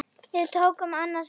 Við tókum annað sætið.